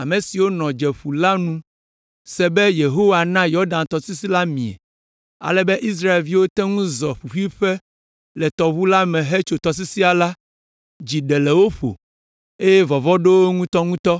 ame siwo nɔ Domeƒu la nu se be Yehowa na Yɔdan tɔsisi la mie, ale be Israelviwo te ŋu zɔ ƒuƒuiƒe le tɔʋu la me hetso tɔsisia la, dzi ɖe le wo ƒo, eye vɔvɔ̃ ɖo wo ŋutɔŋutɔ.